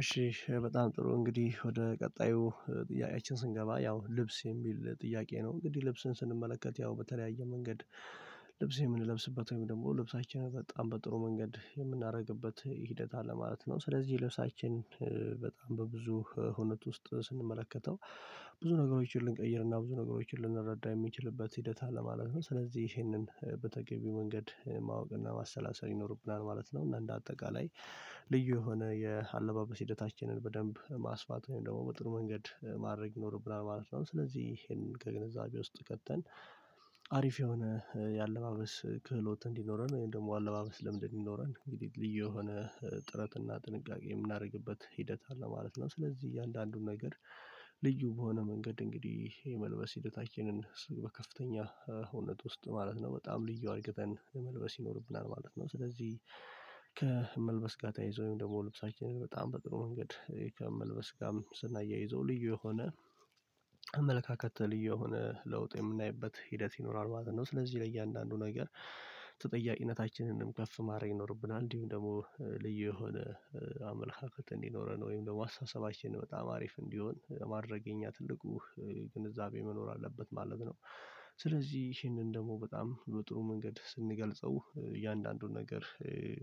እሺ በጣም ጥሩ እንግዲህ ወደ ቀጣዩ ጥያቄችን ስንገባ ያው ልብስ የሚል ጥያቄ ነው እንግዲህ ልብስን ስንመለከት ያው በተለያየ መንገድ ልብስ የምንለብስበት ወይም ደግሞ ልብሳችንን በጣም በጥሩ መንገድ የምናደርግበት ሂደት አለ ማለት ነው። ስለዚህ ልብሳችን በጣም በብዙ ሁኔት ውስጥ ስንመለከተው ብዙ ነገሮችን ልንቀይርና ብዙ ነገሮችን ልንረዳ የሚችልበት ሂደት አለማለት ነው። ስለዚህ ይሄንን በተገቢው መንገድ ማወቅ እና ማሰላሰል ይኖርብናል ማለት ነው። እና እንደ አጠቃላይ ልዩ የሆነ የአለባበስ ሂደታችንን በደንብ ማስፋት ወይም ደግሞ በጥሩ መንገድ ማድረግ ይኖርብናል ማለት ነው። ስለዚህ ይሄንን ከግንዛቤ ውስጥ ከተን አሪፍ የሆነ የአለባበስ ክህሎት እንዲኖረን ወይም ደግሞ አለባበስ ለምድ እንድኖረን እንግዲህ ልዩ የሆነ ጥረት እና ጥንቃቄ የምናደርግበት ሂደት አለ ማለት ነው። ስለዚህ እያንዳንዱን ነገር ልዩ በሆነ መንገድ እንግዲህ የመልበስ ሂደታችንን በከፍተኛ ሆነት ውስጥ ማለት ነው በጣም ልዩ አድርገን መልበስ ይኖርብናል ማለት ነው። ስለዚህ ከመልበስ ጋር ተይዞ ወይም ደግሞ ልብሳችንን በጣም በጥሩ መንገድ ከመልበስ ጋርም ስናያይዘው ልዩ የሆነ አመለካከት ልዩ የሆነ ለውጥ የምናይበት ሂደት ይኖራል ማለት ነው። ስለዚህ ለእያንዳንዱ ነገር ተጠያቂነታችንንም ከፍ ማድረግ ይኖርብናል እንዲሁም ደግሞ ልዩ የሆነ አመለካከት እንዲኖረን ወይም ደግሞ አስተሳሰባችንን በጣም አሪፍ እንዲሆን ማድረግ የእኛ ትልቁ ግንዛቤ መኖር አለበት ማለት ነው። ስለዚህ ይህንን ደግሞ በጣም በጥሩ መንገድ ስንገልጸው እያንዳንዱን ነገር